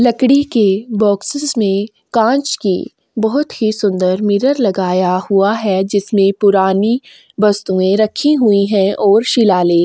लकड़ी के बॉक्सेस में कांच के बहुत ही सुंदर मिरर लगाया हुआ है जिसमें पुरानी वस्तुए रखी हुई है और शिलालेख--